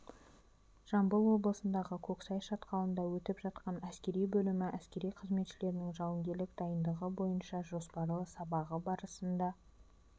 жамбыл облысындағы көксай шатқалында өтіп жатқан әскери бөлімі әскери қызметшілерінің жауынгерлік дайындығы бойынша жоспарлы сабағы барысында